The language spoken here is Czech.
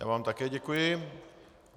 Já vám také děkuji.